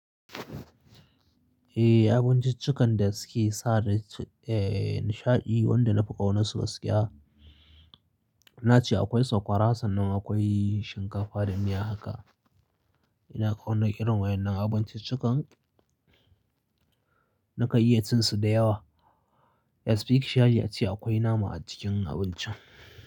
Eh abinciccikan da suke sa da, eh nishaɗi wanda na fi ƙaunarsu gaskiya. Na ce akwai sakwara sannan akwai shinkafa da miya haka. Ina ƙauna irin waɗannan abinciccikan. Naka iya cin su da yawa. Especially ace acikinace akwai nama a cikin abincin.